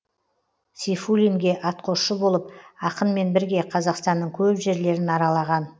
сейфуллинге атқосшы болып ақынмен бірге қазақстанның көп жерлерін аралаған